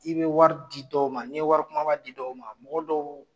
I bɛ wari di dɔw ma n'i wari kunbaba di dɔw ma mɔgɔ dɔw